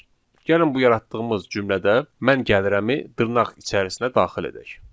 Gəlin bu yaratdığımız cümlədə mən gəlirəmi dırnaq içərisinə daxil edək.